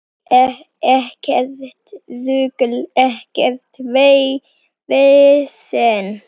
Ekkert rugl, ekkert vesen.